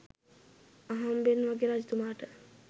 අහම්බෙන් වගේ රජතුමාට